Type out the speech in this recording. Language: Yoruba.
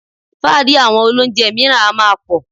Fáàrí àwọn olóunjẹ mìíràn a máa pọ̀